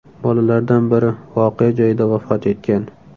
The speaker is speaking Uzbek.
Bolalardan biri voqea joyida vafot etgan.